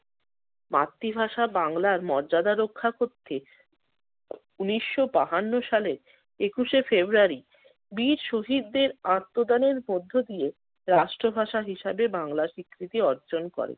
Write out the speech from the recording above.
মাতৃভাষা বাংলার মর্যাদা রক্ষা করতে ঊনিশশো বাহান্ন সালের একুশে ফ্রেব্রুয়ারি বীর শহীদদের আত্মদানের মধ্য দিয়ে রাষ্ট্র ভাষা হিসেবে বাংলা স্বীকৃতি অর্জন করে।